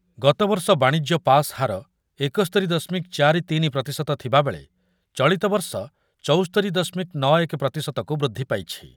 ଗତବର୍ଷ ବାଣିଜ୍ୟ ପାସ୍ ହାର ଏକସ୍ତୋରି ଦଶମିକ ଚାରି ତିନି ପ୍ରତିଶତ ଥିବାବେଳେ ଚଳିତବର୍ଷ ଚୌସ୍ତୋରି ଦଶମିକ ନ ଏକ ପ୍ରତିଶତ କୁ ବୃଦ୍ଧି ପାଇଛି ।